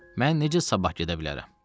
Mən necə sabah gedə bilərəm?